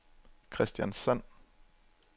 Kristiansand